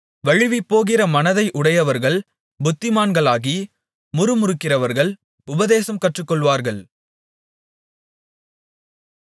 வழுவிப்போகிற மனதை உடையவர்கள் புத்திமான்களாகி முறுமுறுக்கிறவர்கள் உபதேசம் கற்றுக்கொள்ளுவார்கள்